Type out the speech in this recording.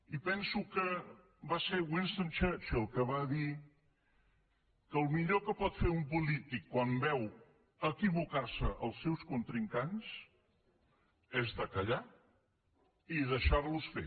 i penso que va ser winston churchill que va dir que el millor que pot fer un polític quan veu equivocar se els seus contrincants és callar i deixar los fer